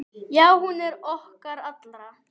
Já, hún er okkar allra.